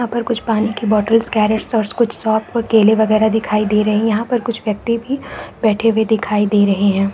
यहाँ पर कुछ पानी की बॉटलस कैरेट और कुछ केले बगेरा दिखाई दे रहे है। यहाँ पे कुछ व्यक्ति भी बैठे हुए दिखाई दे रही है।